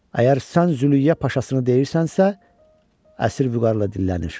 Əgər sən Zülüyə paşasını deyirsənsə, əsir vüqarla dillənir.